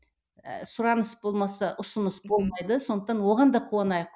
ы сұраныс болмаса ұсыныс болмайды сондықтан да оған да қуанайық